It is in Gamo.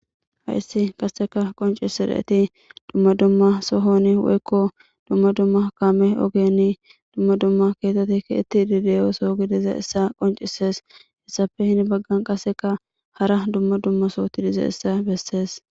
Hayssi qaseka qonc'isireeti dumma dumma sohoni woykko dumma dumma kaame ogeni dumma dumma keetetekki itti didiyooso gidize issa qoncisees hessafe hini baggan qaseka hara dumma dumma sooti dize issa bessees.